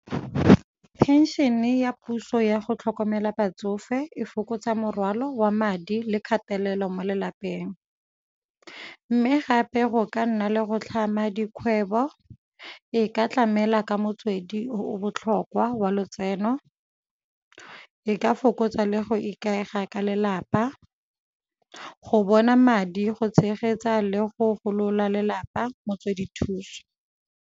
Phenšene ya puso ya go tlhokomela batsofe e fokotsa morwalo wa madi le kgatelelo mo lelapeng, mme gape go ka nna le go tlhama dikgwebo e ka tlamela ka motswedi o o botlhokwa wa lotseno, e ka fokotsa le go ikaega ka lelapa, go bona madi go tshegetsa le go golola lelapa motswedi thuso.